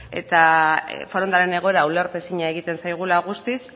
eta forondaren egoera ulertezina egiten zaigula guztiz